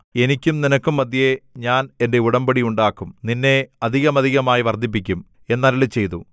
എനിക്കും നിനക്കും മദ്ധ്യേ ഞാൻ എന്റെ ഉടമ്പടി ഉണ്ടാക്കും നിന്നെ അധികമധികമായി വർദ്ധിപ്പിക്കും എന്ന് അരുളിച്ചെയ്തു